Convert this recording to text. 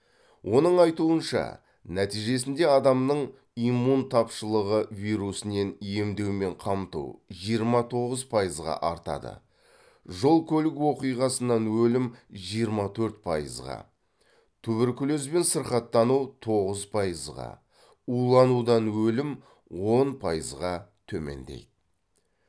оның айтуынша нәтижесінде адамның иммун тапшылығы вирусінен емдеумен қамту жиырма тоғыз пайызға артады жол көлік оқиғасынан өлім жиырма төрт пайызға туберкулезбен сырқаттану тоғыз пайызға уланудан өлім он пайызға төмендейді